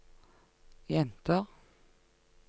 jenter